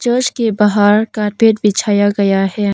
Church के बाहर carpet बिछाया गया है।